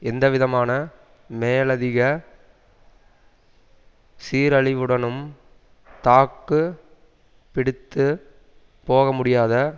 எந்தவிதமான மேலதிக சீரழிவுடனும் தாக்குப்பிடித்துப் போகமுடியாத